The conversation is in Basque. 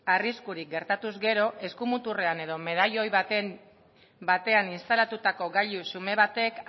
arriskurik gertatuz gero eskumuturrean edo medailoi batean instalatutako gailu xume batek